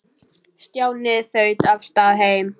Stjáni þaut af stað heim.